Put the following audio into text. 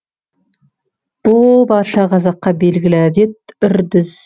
бұ барша қазаққа белгілі әдет үрдіс